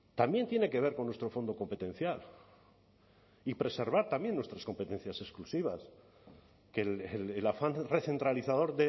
también tiene que ver con nuestro fondo competencial y preservar también nuestras competencias exclusivas que el afán recentralizador